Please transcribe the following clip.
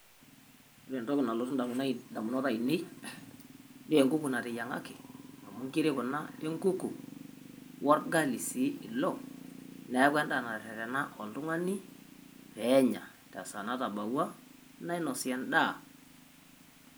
Ore ntokii nalotuu indamunot aineen nee enkuku natenyang'aki amu nkirii kuna enkuku ogali si iloo, naeku enda netetena oltung'ani pee enyaa te saa natabaua nainosi endaa.